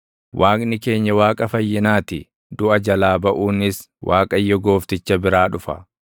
Waaqni keenya Waaqa fayyinaa ti; duʼa jalaa baʼuunis Waaqayyo Goofticha biraa dhufa.